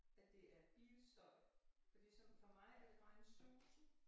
At det er bilstøj fordi som for mig er det bare en susen